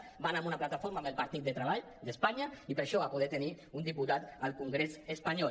hi va anar amb una plataforma amb el partit del treball d’espanya i per això va poder tenir un diputat al congrés espanyol